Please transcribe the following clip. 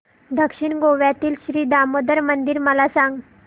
दक्षिण गोव्यातील श्री दामोदर मंदिर मला सांग